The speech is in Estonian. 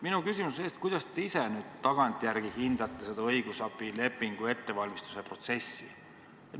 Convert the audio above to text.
Minu küsimus on selle kohta, kuidas te ise nüüd tagantjärele hindate seda õigusabilepingu ettevalmistamise protsessi.